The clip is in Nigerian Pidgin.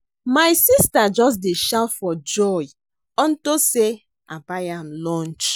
My sister just dey shout for joy unto say I buy am lunch